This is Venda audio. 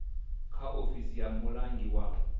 kha ofisi ya mulangi wa